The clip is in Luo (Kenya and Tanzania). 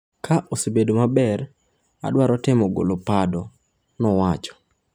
“Ka osebedo maber, adwaro temo golo pado,” nowacho